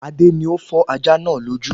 Adé ni ó fọ́ ajá náà lójú